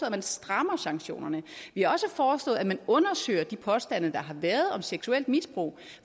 at man strammer sanktionerne vi har også foreslået at man undersøger de påstande der har været om seksuelt misbrug